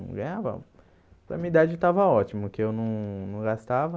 Ganhava Para minha idade estava ótimo, que eu não não gastava.